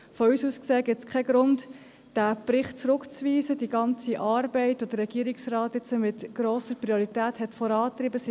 Von uns aus gesehen gibt es keinen Grund, diesen Bericht, das heisst, die ganze Arbeit, die der Regierungsrat mit grosser Priorität vorangetrieben hat, zurückzuweisen.